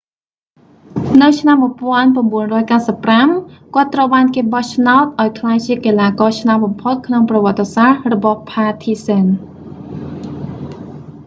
នៅឆ្នាំ 1995 គាត់ត្រូវបានគេបោះឆ្នោតឱ្យក្លាយជាកីឡាករឆ្នើមបំផុតក្នុងប្រវត្តិសាស្ត្ររបស់ផាធីហ្សេន partizan